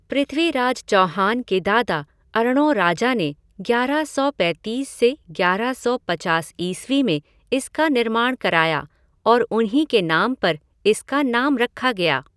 पृथ्वीराज चौहान के दादा अर्णोराजा ने ग्यारह सौ पैंतीस से ग्यारह सौ पचास ईस्वी में इसका निर्माण कराया और उन्हीं के नाम पर इसका नाम रखा गया।